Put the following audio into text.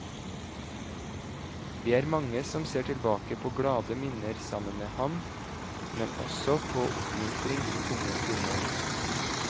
Vi er mange som ser tilbake på glade minner sammen med ham, men også på oppmuntring i tunge stunder.